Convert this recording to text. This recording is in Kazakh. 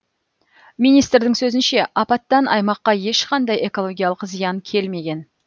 министрдің сөзінше апаттан аймаққа ешқандай экологиялық зиян келмеген